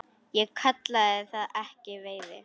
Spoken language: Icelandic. Ég kalla það ekki veiði.